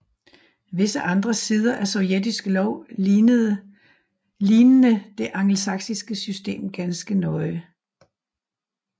Visse andre sider af sovjetisk lov lignede det angelsaksiske system ganske nøje